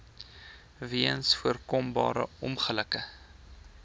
weens voorkombare ongelukke